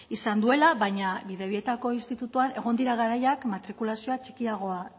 izan duela baina bidebietako institutuan egon dira garaiak matrikulazioa txikiagoa